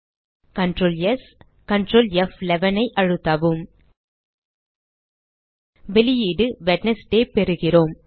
Ctrl S பின் Ctrl F11 ஐ அழுத்தவும் வெளியீடு வெட்னஸ்டே பெறுகிறோம்